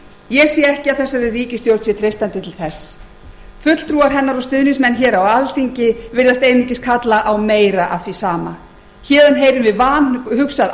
ég sé ekki að þessari ríkisstjórn sé treystandi til þess fulltrúar hennar og stuðningsmenn hér á alþingi virðast einungis kalla á meira af því sama héðan heyrum við vanhugsað